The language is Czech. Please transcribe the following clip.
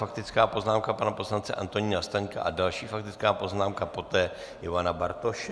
Faktická poznámka pana poslance Antonína Staňka a další faktická poznámka poté Ivana Bartoše.